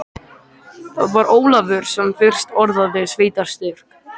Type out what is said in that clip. Það var Ólafur sem fyrst orðaði sveitarstyrk.